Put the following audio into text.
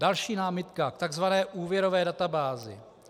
Další námitka k tzv. úvěrové databázi.